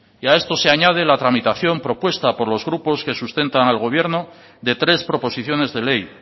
y a esto se añade la tramitación propuesta por los grupos que sustentan al gobierno de tres proposiciones de ley